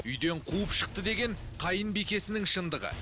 үйден қуып шықты деген қайынбикесінің шындығы